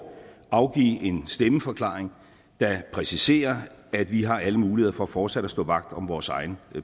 afgive en stemmeforklaring der præciserer at vi har alle muligheder for fortsat at stå vagt om vores egen